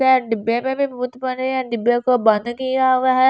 डिब्बे डिब्बे मे भी भूत बने हुए हैं डिब्बे को बंद किया हुआ है।